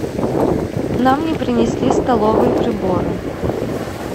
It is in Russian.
нам не принесли столовые приборы